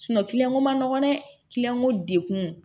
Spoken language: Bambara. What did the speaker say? ko man nɔgɔn dɛ ko degun